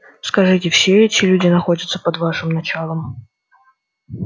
скажите все эти люди находятся под вашим началом